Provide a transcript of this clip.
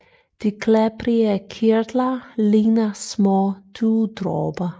De klæbrige kirtler ligner små dugdråber